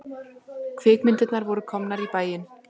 Kvikmyndirnar voru komnar í bæinn.